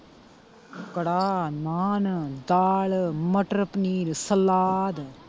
ਕੜਾਹ, ਨਾਨ, ਦਾਲ, ਮਟਰ ਪਨੀਰ, ਸਲਾਦ।